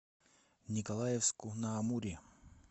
николаевску на амуре